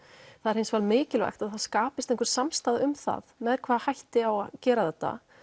það er hins vegar mikilvægt að það skapist einhver samstaða um það með hvaða hætti á að gera þetta